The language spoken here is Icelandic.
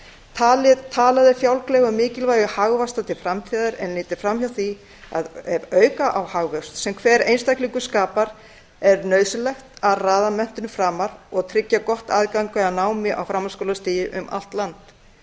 talað er fjálglega um mikilvægi hagvaxtar til framtíðar en litið fram hjá því að ef auka á þann hagvöxt sem hver einstaklingur skapar er nauðsynlegt að raða menntun framar og tryggja gott aðgengi að námi á framhaldsskólastigi um allt land